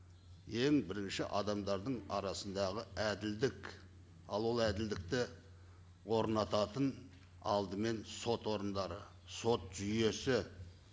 ең бірінші адамдардың арасындағы әділдік ал ол әділдікті орнататын алдымен сот орындары сот жүйесі